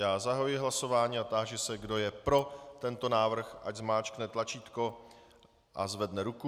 Já zahajuji hlasování a táži se, kdo je pro tento návrh, ať zmáčkne tlačítko a zvedne ruku.